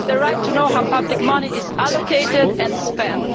They have the right to know how public money is allocated and spent.